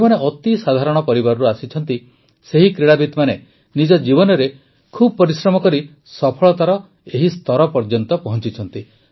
ଯେଉଁମାନେ ଅତି ସାଧାରଣ ପରିବାରରୁ ଆସିଛନ୍ତି ସେହି କ୍ରୀଡ଼ାବିତମାନେ ନିଜ ଜୀବନରେ ବହୁତ ପରିଶ୍ରମ କରି ସଫଳତାର ଏହି ସ୍ତର ଯାଏ ପହଂଚିଛନ୍ତି